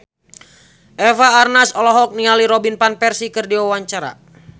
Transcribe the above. Eva Arnaz olohok ningali Robin Van Persie keur diwawancara